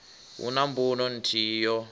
hu na mbuno nthihi yo